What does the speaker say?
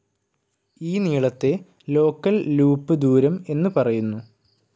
ഈ നീളത്തെ local loop ദൂരം എന്ന് പറയുന്നു.